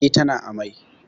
Eh, tana amai